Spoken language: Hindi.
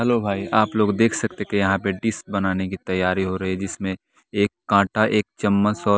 हेलो हाय आप लोग देख सकते हैं कि यहां पे डिश बनाने की तैयारी हो रही है जिसमें एक कांटा एक चम्मच और।